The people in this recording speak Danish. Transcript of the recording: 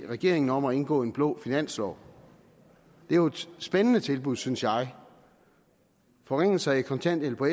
regeringen om at indgå en blå finanslov det er jo et spændende tilbud synes jeg forringelser i kontanthjælp og